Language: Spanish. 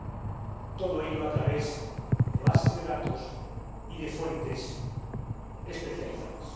y todo ello a través de bases de datos y de fuentes especializadas.